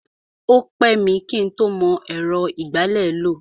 O pẹ́ mi kí ń tó mọ ẹ̀rọ ìgbálẹ̀ lò.